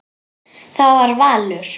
Það var valur.